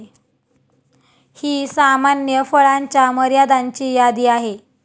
ही सामान्य फळांच्या मर्यादांची यादी आहे.